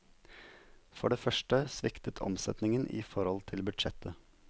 For det første sviktet omsetningen i forhold til budsjett.